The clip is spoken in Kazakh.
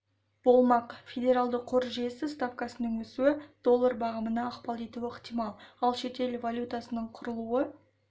болмақ федералды қор жүйесі ставкасының өсуі доллар бағамына ықпал етуі ықтимал ал шетел валютасының құбылуы